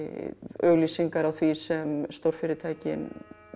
auglýsingar á því sem stórfyrirtækin